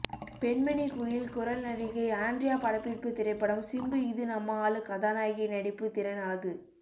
பெண்மணி குயில் குரல் நடிகை ஆண்ட்ரியா படப்பிடிப்பு திரைப்படம் சிம்பு இது நம்ம ஆளு கதாநாயகி நடிப்பு திறன் அழகு